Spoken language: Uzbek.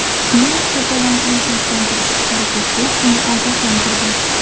Mer to‘polonchini tinchlantirishga harakat qilib, uni ogohlantirgan.